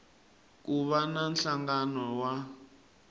ku va na nhlangano wa